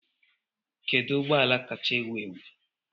kedu ụgbọ ala kacha ewu ewu